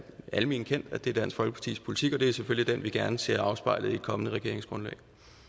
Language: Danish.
alment kendt at det er dansk folkepartis politik og det er selvfølgelig den vi gerne ser afspejlet i et kommende regeringsgrundlag